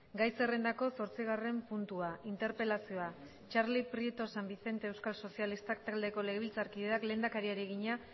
gai zerrendako zortzigarren puntua interpelazioa txarli prieto san vicente euskal sozialistak taldeko legebiltzarkideak lehendakariari egina